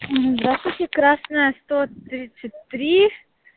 здравствуйте красная сто тридцать три